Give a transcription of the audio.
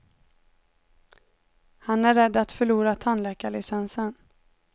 Han är rädd att förlora tandläkarlicensen.